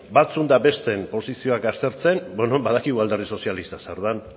batzuen eta besteen posizioak aztertzen bueno badakigu alderdi sozialista zer den